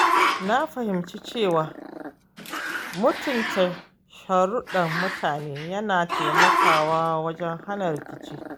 Na fahimci cewa mutunta sharuɗɗan mutane yana taimakawa wajen hana rikici.